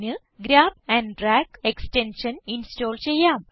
grab and drag extension install ചെയ്യാം